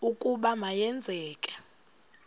ukuba ma yenzeke